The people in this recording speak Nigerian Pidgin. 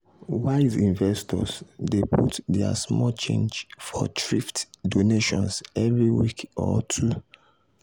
wise investors dey put their small change for thrift donations every week or two.